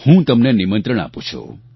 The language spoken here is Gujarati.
હું તમને નિમંત્રણ આપું છું